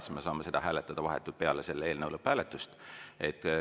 Siis me saame seda hääletada vahetult peale selle eelnõu lõpphääletust.